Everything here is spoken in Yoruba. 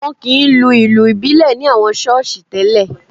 Wọn kì í lu ìlù ìbílẹ̀ ní àwọn ṣọ́ọ̀ṣì tẹ́lè